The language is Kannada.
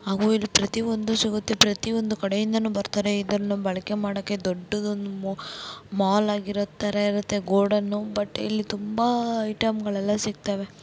ಹಾಗು ಇಲ್ಲಿ ಪ್ರತಿಯೊಂದು ಸಿಗುತ್ತೆ ಪ್ರತಿಯೊಂದು ಕಡೆಯಿಂದಾನೂ ಬರತಾರೆ ಇದನ್ನು ಬಳಕೆ ಮಾಡೋಕೆ. ಇದೊಂದೇ ದೊಡ್ಡದಾದ ಮಾಲ್ ತರ ಇರುತ್ತೆ. ಗೋಡೌನ್ಬಟ್ ಇಲ್ಲಿ ತುಂಬಾ ಐಟಂ ಗಳು ಸಿಗುತ್ತದೆ.